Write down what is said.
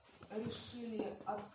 а решили от